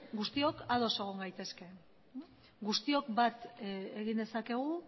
guztiok ados egon gaitezke guztiok bat egin dezakegu